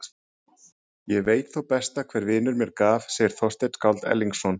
Ég veit þó sitt besta hver vinur mér gaf, segir Þorsteinn skáld Erlingsson.